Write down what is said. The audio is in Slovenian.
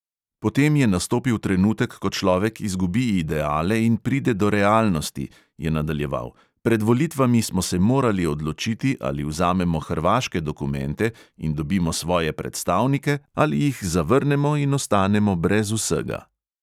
Potem je nastopil trenutek, ko človek izgubi ideale in pride do realnosti," je nadaljeval, "pred volitvami smo se morali odločiti, ali vzamemo hrvaške dokumente in dobimo svoje predstavnike ali jih zavrnemo in ostanemo brez vsega."